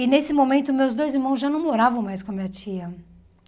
E nesse momento, meus dois irmãos já não moravam mais com a minha tia.